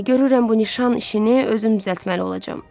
Görürəm bu nişan işini özüm düzəltməli olacam.